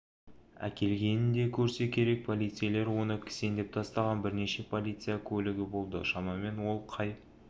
әкелгенін де көрсе керек полицейлер оны кісендеп тастаған бірнеше полицеия көлігі болды шамамен ол қай